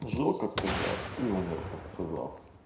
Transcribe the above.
жил как казах и умер как казах